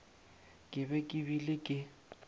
ke be ke bile ke